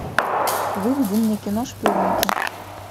выведи мне кино шпионки